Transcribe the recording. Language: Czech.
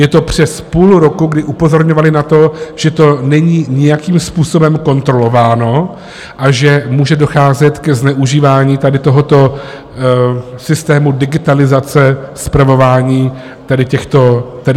Je to přes půl roku, kdy upozorňovali na to, že to není nijakým způsobem kontrolováno a že může docházet ke zneužívání tady tohoto systému digitalizace spravování tady těchto dávek.